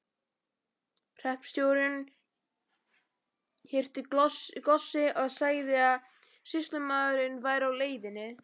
Hreppstjórinn hirti góssið og sagði að sýslumaðurinn væri á leiðinni.